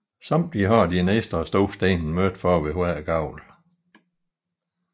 Undertiden har de en ekstra stor sten midt for ved hver gavl